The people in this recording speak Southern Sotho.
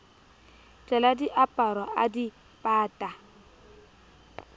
tlela diaparo a di pata